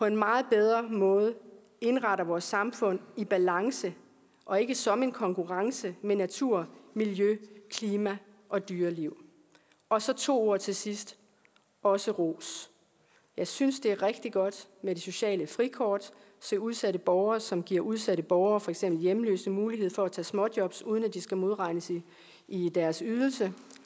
på en meget bedre måde indretter vores samfund i balance og ikke som en konkurrence med natur miljø klima og dyreliv og så to ord til sidst også ros jeg synes det er rigtig godt med det sociale frikort til udsatte borgere som giver udsatte borgere for eksempel hjemløse mulighed for at tage småjobs uden at de skal modregnes i deres ydelse